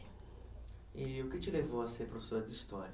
E o que te levou a ser professora de história?